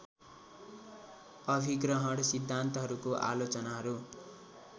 अभिग्रहण सिद्धान्तहरूको आलोचनाहरू